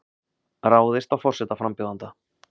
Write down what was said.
Ráðist á forsetaframbjóðanda